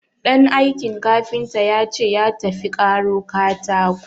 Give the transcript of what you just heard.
Ɗan aikin kafinta ya ce ya tafi karo katako.